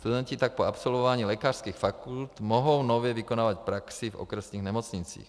Studenti tak po absolvování lékařských fakult mohou nově vykonávat praxi v okresních nemocnicích.